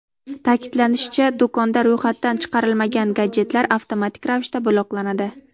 Ta’kidlanishicha, do‘konda ro‘yxatdan chiqarilmagan gadjetlar avtomatik ravishda bloklanadi.